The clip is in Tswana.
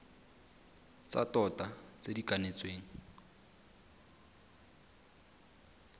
tsa tota tse di kanetsweng